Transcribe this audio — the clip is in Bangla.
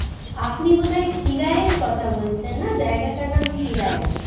আপনি বোধ হয় খিরাইয়ের কথা বলছেন না জায়গাটার নাম খিরায়